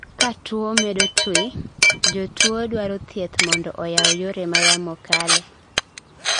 katuwo medo twi, jotuwo dwaro thieth mondo oyaw yore ma yamo kale